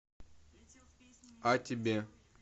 а тебе